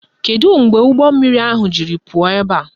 Kedu mgbe ụgbọmmiri ahụ jiri pụọ ebe a?